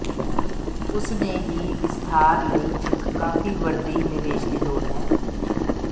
ਉਸ ਨੇ ਹੀ ਵਿਸਥਾਰ ਲਈ ਇੱਕ ਕਾਫ਼ੀ ਵੱਡੀ ਨਿਵੇਸ਼ ਦੀ ਲੋੜ ਹੈ